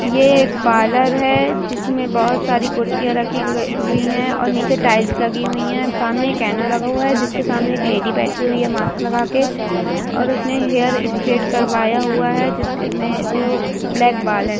ये एक पार्लर जिसमें बोहोत सारी कुडसिया रखी ग हुई है। और नीचे टाइल्स लगी हुई है। सामने एक आईना लगा हुआ है। जिस के सामने एक लेडी बैठी हुई है मास्क लाग के ।और उस ने हेयर स्ट्रेट करवाया हुआ है। जिस क में जो ब्लैक बाल है।